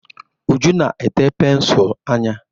Uju na-ete pensụl anya.